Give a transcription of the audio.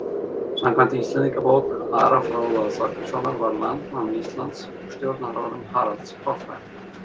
Samkvæmt Íslendingabók Ara fróða Þorgilssonar varð landnám Íslands á stjórnarárum Haralds hárfagra.